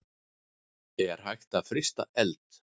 Er hægt að frysta eld?